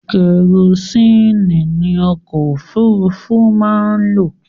Kerosini ni Ọkọ òfúrufú máa ń lo